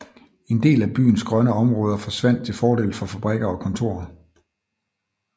En del af byens grønne områder forsvandt til fordel for fabrikker og kontorer